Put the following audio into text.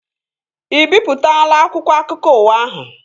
Ị bipụtaala akwụkwọ akụkọ ụwa ahụ?